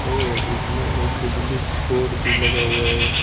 और इसमें एक बिजली का बोर्ड भी लगा हुआ है।